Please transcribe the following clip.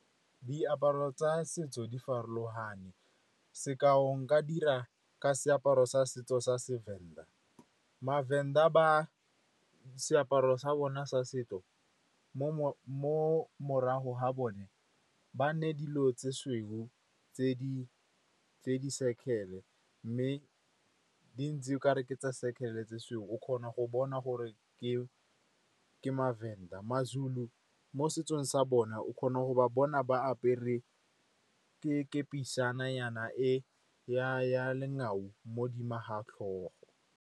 Diaparo tsa setso di farologane. Sekao nka dira ka seaparo sa setso sa seVenda. MaVenda seaparo sa bona sa setso, mo morago ga bone, ba nne dilo tse sweu tse di circle-e, mme di ntse okare tsa circle-e tse sweu. O kgona go bona gore ke maVenda. MaZulu mo setsong sa bona, o kgona go ba bona ba apere kepisana ya lengao mo dimo ga tlhogo.